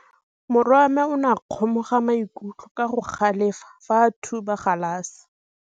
Morwa wa me o ne a kgomoga maikutlo ka go galefa fa a thuba galase.